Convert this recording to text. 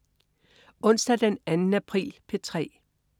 Onsdag den 2. april - P3: